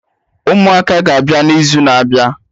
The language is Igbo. Ụmụaka ga-abịa na izu na-abịa